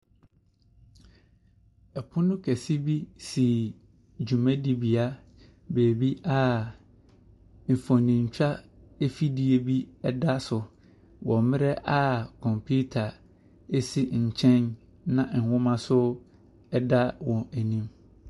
Ɔpono kɛseɛ bi si dwumadie bea baabi a mfonintwa afidie bi da so wɔ mmerɛ a kɔmputa si nkyɛn, na nwoma nso da wɔn anim.